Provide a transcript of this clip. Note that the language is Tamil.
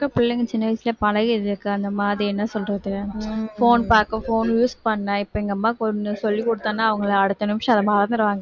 இப்ப இருக்குற பிள்ளைங்க சின்ன வயசுலயே பழகிருதுக்கா அந்த மாதிரி என்ன சொல்றது phone பார்க்க phone use பண்ண இப்ப எங்க அம்மாவுக்கு ஒண்ணு சொல்லி கொடுத்தேன்னா அவங்க அதை அடுத்த நிமிஷம் அதை மறந்துருவாங்க